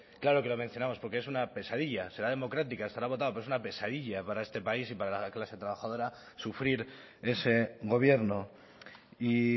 claro que lo mencionamos porque es una pesadilla será democrática estará acotado pero es una pesadilla para este país y para la clase trabajadora sufrir ese gobierno y